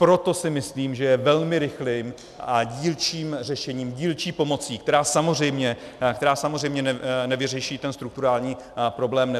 Proto si myslím, že je velmi rychlým a dílčím řešením, dílčí pomocí, která samozřejmě nevyřeší ten strukturální problém